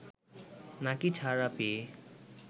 নাকি ছাড়া পেয়ে